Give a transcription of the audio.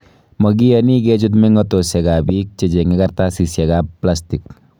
Mogiyooni keechuut mengotosiek ab biik gechenge karatasiiek ab plastig.